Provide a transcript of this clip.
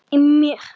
Hrollur í mér.